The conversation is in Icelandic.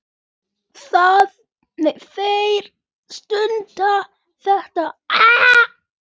Þar stendur þetta